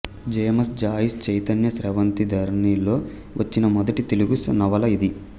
James Joyce చైతన్య స్రవంతి ధోరణిలో వచ్చిన మొదటి తెలుగు నవల ఇది